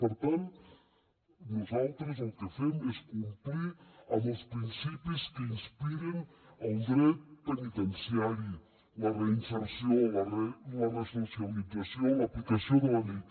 per tant nosaltres el que fem és complir amb els principis que inspiren el dret penitenciari la reinserció la resocialització l’aplicació de la llei